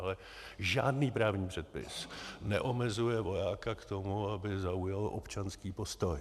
Ale žádný právní předpis neomezuje vojáka k tomu, aby zaujal občanský postoj.